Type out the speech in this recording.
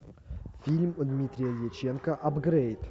фильм дмитрия дьяченко апгрейд